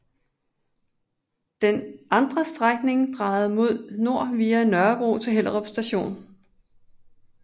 Den andre strækning drejede mod nord via Nørrebro til Hellerup Station